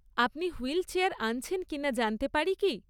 আপনি হুইলচেয়ার আনছেন কিনা জানতে পারি কি?